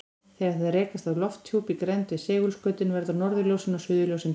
Þegar þær rekast á lofthjúpinn í grennd við segulskautin verða norðurljósin og suðurljósin til.